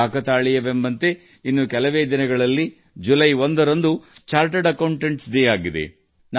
ಕಾಕತಾಳೀಯವೆಂಬಂತೆ ಇನ್ನು ಕೆಲವೇ ದಿನಗಳಲ್ಲಿ ಜುಲೈ 1ನ್ನು ಚಾರ್ಟರ್ಡ್ ಅಕೌಂಟೆಂಟ್ಸ್ ದಿನವನ್ನಾಗಿ ಆಚರಿಸಲಾಗುತ್ತದೆ